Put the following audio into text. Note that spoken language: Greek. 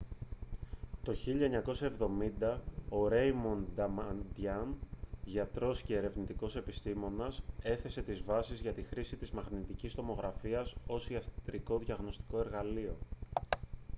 το 1970 ο ρέιμοντ νταμαντίαν γιατρός και ερευνητικός επιστήμονας έθεσε τις βάσεις για τη χρήση της μαγνητικής τομογραφίας ως ιατρικό διαγνωστικό εργαλείο